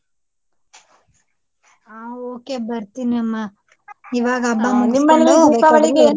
ಹ ok ಬರ್ತೀನಿ ಅಮ್ಮ ಇವಾಗ ಹಬ್ಬ ಮುಗಿಸಕೊಂಡು .